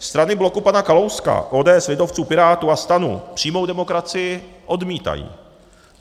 Strany bloku pana Kalouska, ODS, lidovců, Pirátů a STANu přímou demokracii odmítají.